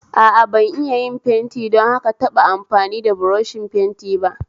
A a, ban iya yin fenti don haka taba amfani da buroshin fenti ba